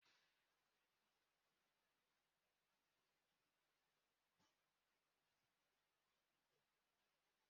Ọ bụrụ na ị chọrọ isi n'Ịntaneetị bụdata aplikeshọn, gaa na Plee Stọọ